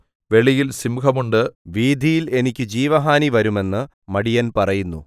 വെളിയിൽ സിംഹം ഉണ്ട് വീഥിയിൽ എനിക്ക് ജീവഹാനി വരും എന്ന് മടിയൻ പറയുന്നു